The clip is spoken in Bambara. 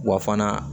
Wa fana